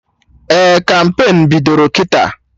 Ee, kampain bidoro kịta